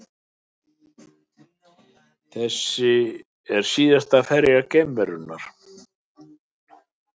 Þetta er síðasta ferð geimferjunnar